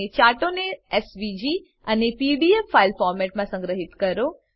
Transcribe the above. ચાર્ટોને SVG અને PDF file ફોર્મેટમાં સંગ્રહીત કરો